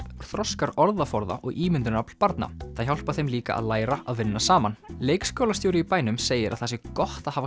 þroskar orðaforða og ímyndunarafl barna það hjálpar þeim líka að læra að vinna saman leikskólastjóri í bænum segir að það sé gott að hafa